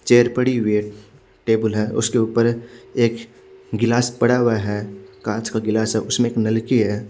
Chair पड़ी हुई है टेबल है उसके उपर एक गिलास पड़ा हुआ है काच का गिलास है उसमे एक नलकी है।